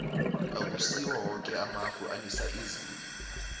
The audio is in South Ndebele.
akusiwo woke amafu anisa izulu